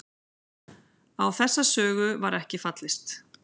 Á þessa sögu var ekki fallist